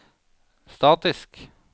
statisk